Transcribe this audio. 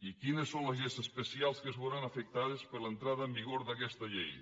i quines són les lleis especials que es veuran afectades per l’entrada en vigor d’aquesta llei